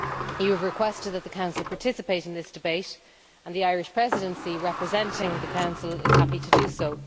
You have requested that the Council participate in this debate, and the Irish Presidency, representing the Council, is happy to do so.